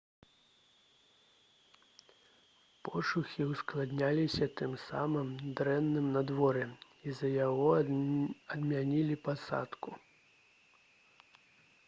пошукі ўскладняліся тым самым дрэнным надвор'ем з-за якога адмянілі пасадку